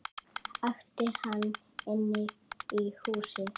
æpti hann inn í húsið.